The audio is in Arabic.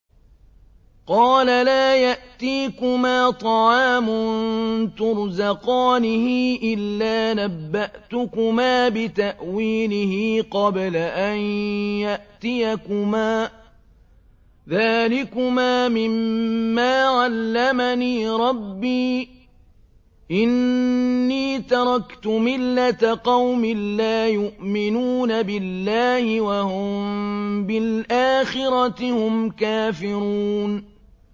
قَالَ لَا يَأْتِيكُمَا طَعَامٌ تُرْزَقَانِهِ إِلَّا نَبَّأْتُكُمَا بِتَأْوِيلِهِ قَبْلَ أَن يَأْتِيَكُمَا ۚ ذَٰلِكُمَا مِمَّا عَلَّمَنِي رَبِّي ۚ إِنِّي تَرَكْتُ مِلَّةَ قَوْمٍ لَّا يُؤْمِنُونَ بِاللَّهِ وَهُم بِالْآخِرَةِ هُمْ كَافِرُونَ